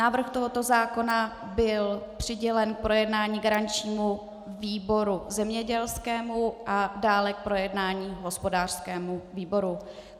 Návrh tohoto zákona byl přidělen k projednání garančnímu výboru zemědělskému a dále k projednání hospodářskému výboru.